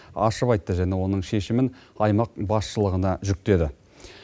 ашып айтты және оның шешімін аймақ басшылығына жүктеді